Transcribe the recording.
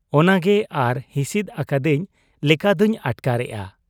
ᱚᱱᱟᱜᱮ ᱟᱨ ᱦᱤᱥᱤᱫ ᱟᱠᱟᱫᱤᱧ ᱞᱮᱠᱟᱫᱚᱧ ᱟᱴᱠᱟᱨᱮᱜ ᱟ ᱾